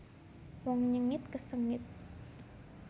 Wong nyengit kesengit